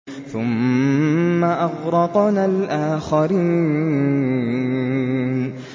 ثُمَّ أَغْرَقْنَا الْآخَرِينَ